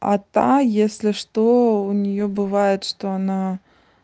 а та если что у неё бывает что она